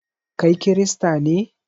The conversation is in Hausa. Kai kirista ne?